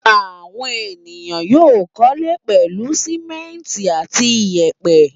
Àwọn ènìyàn yóò kọ́lé pẹ̀lú sìmẹ́ńtì àti ìyẹ̀pẹ̀.